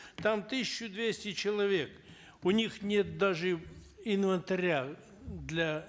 там тысяча двести человек у них нет даже инвентаря для